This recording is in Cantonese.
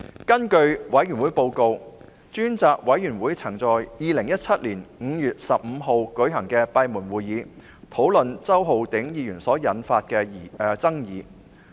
根據專責委員會報告，專責委員會曾在2017年5月15日舉行的閉門會議討論周浩鼎議員所引發的爭議。